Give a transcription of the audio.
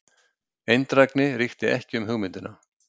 Eindrægni ríkti ekki um hugmyndina.